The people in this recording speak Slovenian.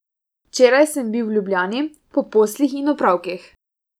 Včeraj sem bil v Ljubljani po poslih in opravkih.